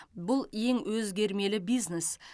бұл ең өзгермелі бизнес